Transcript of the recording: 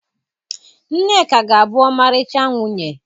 Nneka ga-abụ ọmarịcha nwunye